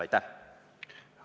Aitäh!